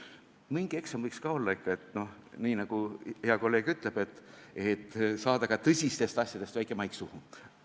Mingi eksam võiks ka olla, et – nii nagu hea kolleeg ütleb – saada ka tõsistest asjadest väike maik suhu.